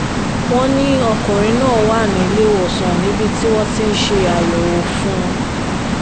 wọ́n ní ọkùnrin náà wà nílẹ́wọ̀sán níbi tí wọ́n ti ń ṣe àyẹ̀wò fún un